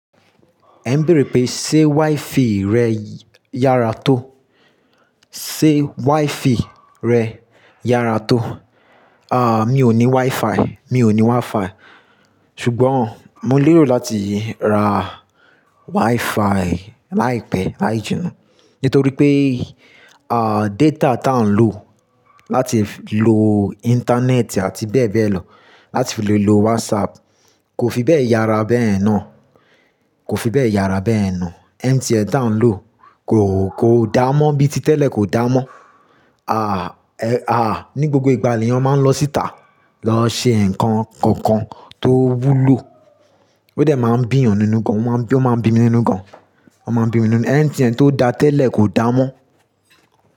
Ẹ ń béèrè pé, ṣe WiFi rẹ yára to? Ṣe WiFi rẹ yára tó? À, mi ò ní WiFi, mi ò ní WiFi. Ṣùgbọ́n mo lérò láti ra WiFi láìpẹ́, láì jina. Nítorí pé, à, data tá ń lò láti lo Íńtánẹ́ẹ̀tì àti bẹ́ẹ̀ bẹ́ẹ̀ lọ, láti fi lè lo WhatsApp kò fi bẹ́ẹ̀ yára bẹ́ẹ̀ náà, kò fi bẹ́ẹ̀ yára bẹ́ẹ̀ náà. MTN tá ń lò kò, kò dáa mọ́ bíi ti tẹ́lẹ̀ kò dáa mọ́. À, ẹ, à, ní gbogbo ìgbà èèyàn máa ń lọ síta, lọ ṣe nǹkan kankan tó wúlò. Ó dẹ̀ máa ń bí èèyàn nínú gan, ó máa ń bí mi nínú gan, ó máa ń bí mi nínú. MTN tó dáa tẹ́lẹ̀ kò dáa mọ́